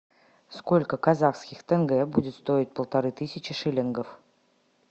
сколько казахских тенге будет стоить полторы тысячи шиллингов